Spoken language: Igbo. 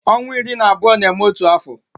Ọnwa iri na abụọ na-eme otu afọ